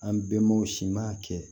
An bɛnbaw si ma kɛ